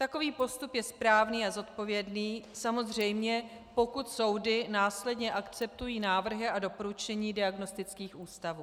Takový postup je správný a zodpovědný, samozřejmě pokud soudy následně akceptují návrhy a doporučení diagnostických ústavů.